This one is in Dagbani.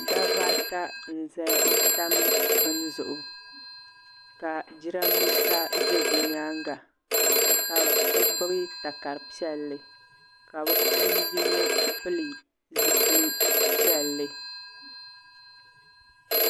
Dabba ata n tam bini zuɣu ka jirambisa za bɛ nyaanga ka bɛ gbibi takari piɛllia ka bɛ puuni yino pili zipil'piɛlli.